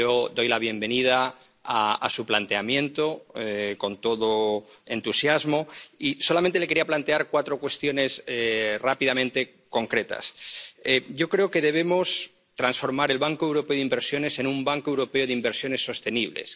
Doy la bienvenida a su planteamiento, con todo entusiasmo y, solamente le quería plantear cuatro cuestiones concretas rápidamente. Yo creo que debemos transformar el Banco Europeo de Inversiones, en un Banco Europeo de Inversiones Sostenibles